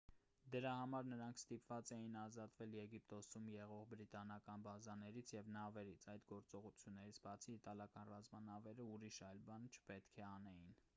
դրա համար նրանք ստիպված էին ազատվել եգիպտոսում եղող բրիտանական բազաներից և նավերից այդ գործողություններից բացի իտալական ռազմանավերը ուրիշ այլ բան չպետք է անեին